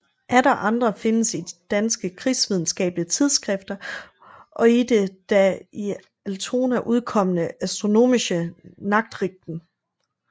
Atter andre findes i danske krigsvidenskabelige tidsskrifter og i det da i Altona udkommende Astronomische Nachrichten